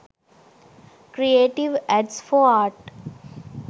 creative ads for art